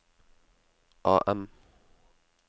AM